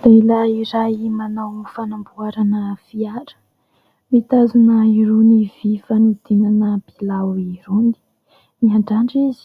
Lehilahy iray manao fanamboarana fiara mitazona irony vy fanodinana bilao irony ; miandrandra izy,